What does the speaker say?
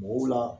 Mɔgɔw la